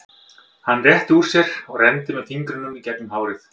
Hann rétti úr sér og renndi með fingrunum í gegnum hárið.